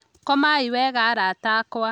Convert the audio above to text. Komai wega arata akwa